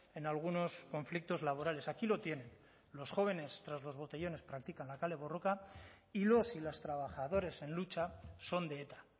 en algunos conflictos laborales aquí lo tienen los jóvenes tras los botellones practican la kale borroka y los y las trabajadores en lucha son de eta